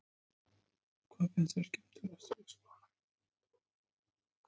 Þórhildur Þorkelsdóttir: Hvað finnst þér skemmtilegast í leikskólanum?